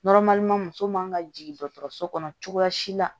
muso man ka jigin dɔgɔtɔrɔso kɔnɔ cogoya si la